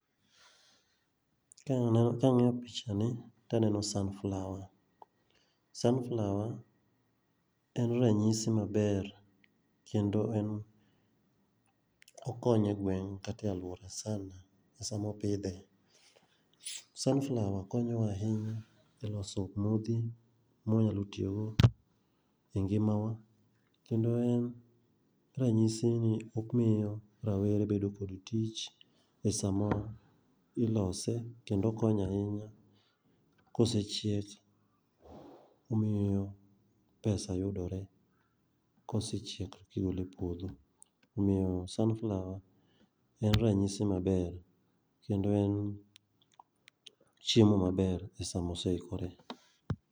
Kang'iyo picha ni, taneno sunflower. Sunflower en ranyisi maber kendo en okonyo e gweng' kata e alwora sana ma sama opidhe, sunflower konyowa ahinya e loso modhi mwanyalo tiyogo e ngimawa kendo en ranyisi ni omiyo rawere bedo kod tich e sama ilose, kendo okonyo ahinya kosechiek, omiyo pesa yudore. Kosechiek eka igole e puodho. Omiyo sunflower en ranyisi maber kendo en chiemo maber e sama oseikore.